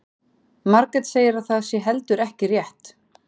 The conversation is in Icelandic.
Margrét segir að það sé heldur ekki rétt.